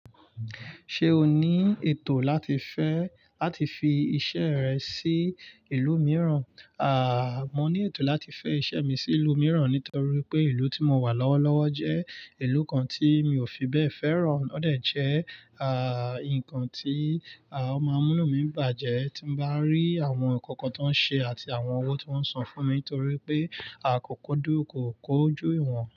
Ṣé o ní ètò láti fẹ́ láti fi iṣẹ́ rẹ sí ìlú mìíràn? Àà, mo ní ètò láti fẹ́ iṣẹ́ mi sí ìlú mìíràn nítorí pé ìlú tí mo wà lọ́wọ́lọ́wọ́ jẹ́ ìlú kan tí mi ò fi bẹ́ẹ̀ fẹ́ràn. Ó dà jẹ́, à, ǹkan tí, à, ọ mọ múnu mi bàjẹ́ tí bá ń rí àwọn ǹkan kan tó ń ṣe àti àwọn owó tó ń san fún mi torí pé a kò kódú kò kójú ìwọ̀n.